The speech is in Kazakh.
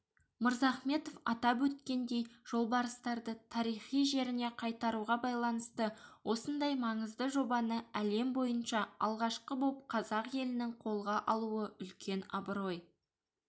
мырзахметов атап өткендей жолбарыстарды тарихи жеріне қайтаруға байланысты осындай маңызды жобаны әлем бойынша алғашқы боп қазақ елінің қолға алуы үлкен абырой